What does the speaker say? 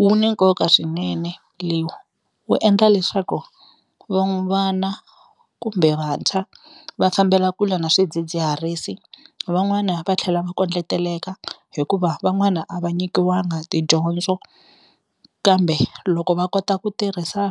Wu ni nkoka swinene wu endla leswaku vana kumbe vantshwa va fambela kule na swidzidziharisi, van'wana va tlhela va kondleteleka hikuva van'wana a va nyikiwanga tidyondzo kambe loko va kota ku tirhisa